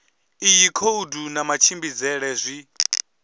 iyi khoudu na matshimbidzele zwi